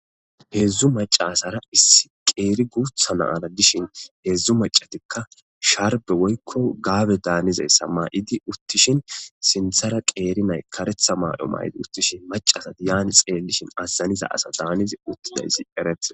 Hedzdzu mac'a asara issi qeri gutha na'ra dishin hedzdzu mac'atika sharbe woyiko gabe danizayisa mayidi utishin sinthara qeri na'yi karetha mayo mayidayisa gidishin maca'ra azanida asa danatidi utida